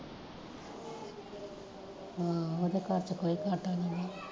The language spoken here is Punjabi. ਹਾਂ ਓਦੇ ਘਰਚ ਕੋਈ ਘਾਟਾ ਨੀ